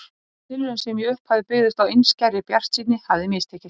Þessi tilraun, sem í upphafi byggðist á einskærri bjartsýni, hafði mistekist.